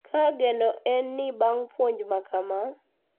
Ka geno en ni bang` puonj makama,